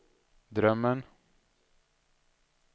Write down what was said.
drömmen